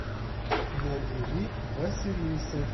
набери василиса